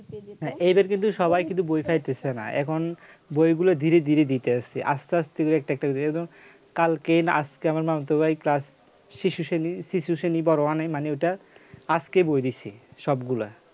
হ্যাঁ এইবার কিন্তু সবাই কিন্তু বই চাইতেছে না এখন বইগুলো ধীরে ধীরে দিতে আসছে আস্তে আস্তে একটা এবার একটা একটা করে একদম কালকে না আজকে আমার মামাতো ভাই class শিশু শ্রেণী বড় one এ মানে ওই টা আজকে বই দিয়েছে সবগুলা